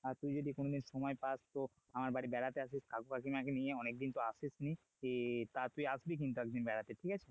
আর তুই যদি কোনোদিন সময় পাস তো আমার বাড়ি বেড়াতে আসিস কাকু কাকিমা কে নিয়ে অনেকদিন তো আসিস নি আহ তা তুই আসবি কিন্তু একদিন বেড়াতে ঠিক আছে?